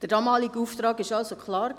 Der damalige Auftrag war klar: